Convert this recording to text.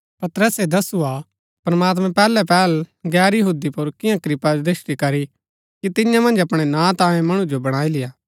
पतरसै दसुआ कि प्रमात्मैं पैहलै पेहल गैर यहूदी पुर कियां कृपादृष्‍टि करी कि तियां मन्ज अपणै नां तांयें मणु जो बणाई लेय्आ